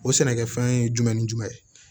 O sɛnɛkɛfɛn ye jumɛn ni jumɛn ye